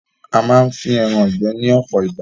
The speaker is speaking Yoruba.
A máa ń fín ẹran ìgbẹ́ ní ọpọ ìgbà